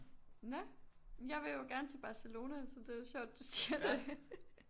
Nå jamen jeg vil jo gerne til Barcelona så det er jo sjovt du siger det